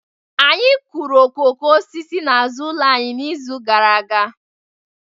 Anyị kụrụ okooko osisi n'azụ ụlọ anyị n'izu gara aga